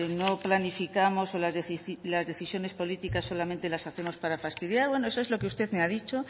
no planificamos o las decisiones políticas solamente las hacemos para fastidiar bueno eso es lo que usted me ha dicho